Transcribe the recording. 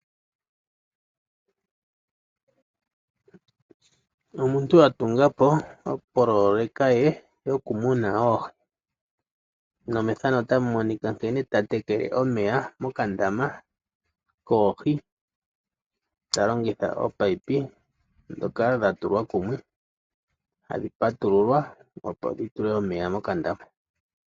Omuntu atungapo opololeka ye yokumuna oohi. Mwene gopololeka oha teke omeya mokandama koohi talongitha oopaipi dhoka dhatulwa kumwe hadhi patululwa opo dhitule omeya mokandama.